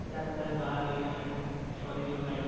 ଚାଲ ଚାଲ late ହେଲାଣି ସରିଯିବ ଖାଇବା